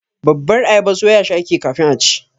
babbar ayaba soyashi ake yi kafin a ci.